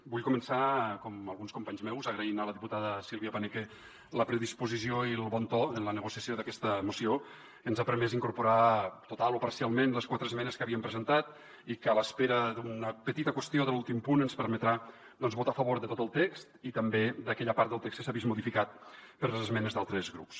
vull començar com alguns companys meus agraint a la diputada silvia paneque la predisposició i el bon to en la negociació d’aquesta moció que ens han permès incorporar totalment o parcialment les quatre esmenes que havíem presentat i que a l’espera d’una petita qüestió de l’últim punt ens permetran doncs votar a favor de tot el text i també d’aquella part del text que s’ha vist modificat per les esmenes d’altres grups